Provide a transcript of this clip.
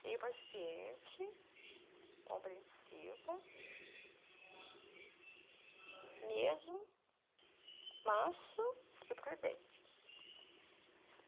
Ser paciente, compreensiva, mesmo, manso e prudente.